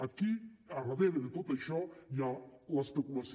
aquí al darrere de tot això hi ha l’especulació